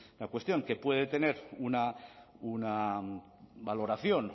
un una cuestión que puede tener una valoración